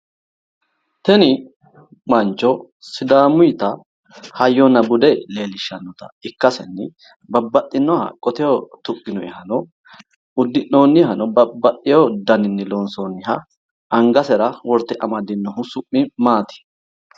Tini mancho sidaamutta hayyonna bude leellishanotta ikkasenni babbaxinoha qoteho tuqinoyehano udi'noohano babbaxewo daninni loonsonniha angasera worte amadinohu Su'mi maati ?